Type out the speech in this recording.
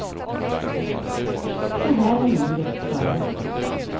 Så här var livet före honom.